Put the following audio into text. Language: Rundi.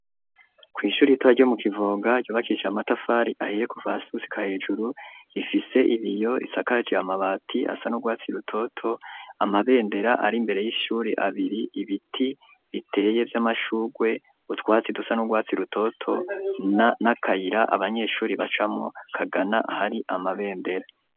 Kw' ishuri ritoya ryo mu Kivoga ryubakishije amatafari ahiye kuva hasi gushika hejuru, ifise ibiyo isakaje amabati asa n'urwatsi rutoto ,amabendera ar' imbere y'ishuri abiri, ibiti biteye vy'amashugwe ,utwatsi dusa n'urwatsi rutoto n'akayira abanyeshuri bacamwo kagana ahari amabendera.